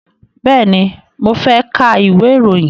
Bẹ́ẹ̀ni, mo fẹ́ ka ìwé ìròyìn.